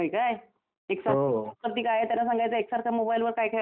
त्याला सांगायचं एकसारखं मोबाईल वर काय खेळायचय म्हणून. अरे पण मग त्याला बाहेर मुलं खेळायला जात नाहीत?